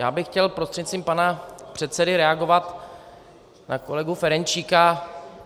Já bych chtěl prostřednictvím pana předsedy reagovat na kolegu Ferjenčíka.